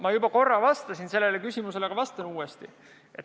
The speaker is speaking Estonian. Ma juba korra vastasin sellele küsimusele, aga vastan uuesti.